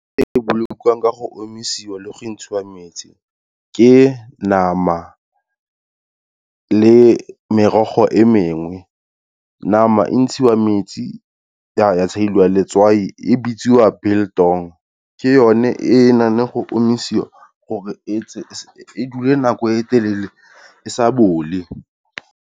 E bolokiwang ka go omisiwa le go ntshiwa metsi, ke nama le merogo e mengwe. Nama e ntshiwa metsi ya tsheliwa letswai, e bitswa biltong, ke yone e e nang le go omisiwa gore e dule nako e telele e sa bole.